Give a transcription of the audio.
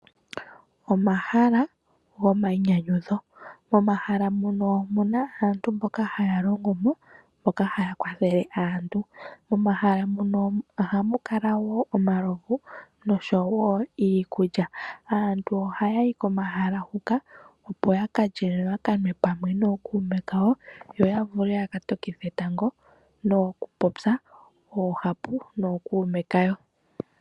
Omahala gomayinyanyudho. Momahala muno omu na aantu mboka haya longo mo, mboka haya kwathele aantu. Momahala muno ohamu kala wo omalovu, nosho wo iikulya. Aantu ohaya yi komahala huka, opo ya ka lye, yo ya ka nwe nookuume kawo, yo ya vule ya ka tokithe etango nokupopya oohapu nookuume kawo.